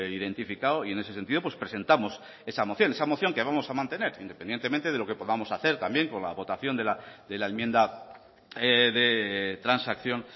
identificado y en ese sentido presentamos esa moción esa moción que vamos a mantener independientemente de lo que podamos hacer también con la votación de la enmienda de transacción